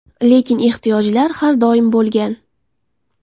Lekin ehtiyojlar har doim bo‘lgan.